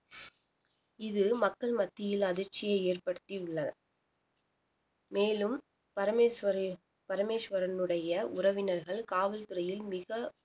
இது மக்கள் மத்தியில் அதிர்ச்சியை ஏற்படுத்தியுள்ளது மேலும் பரமேஸ்வரியின் பரமேஸ்வரனுடைய உறவினர்கள் காவல்துறையில் மிக